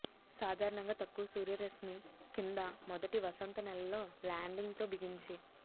సాధారణంగా తక్కువ సూర్యరశ్మి కింద మొదటి వసంత నెలలో ల్యాండింగ్ తో బిగించి